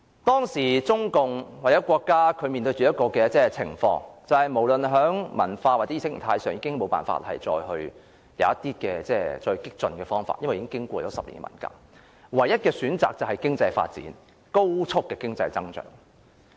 當時中共或國家無論在文化或意識形態上，已無法再有更激進的方法，因為已經過10年文革，唯一的選擇便是高速的經濟發展。